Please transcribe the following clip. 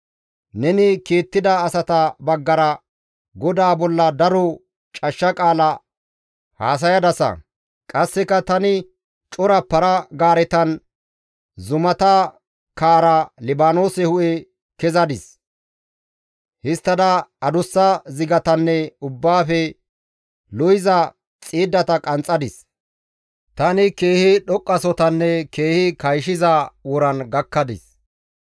Neni kiittida asata baggara Godaa bolla daro cashsha qaala haasayadasa. Qasseka, ‹Tani cora para-gaaretan zumata kaara, Libaanoose hu7e kezadis. Histtada adussa zigatanne ubbaafe lo7iza xiiddata qanxxadis. Tani keehi dhoqqasohotaninne keehi kayshiza woran gakkadis.